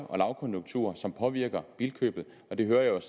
og lavkonjunkturer som påvirker bilkøbet det hører jeg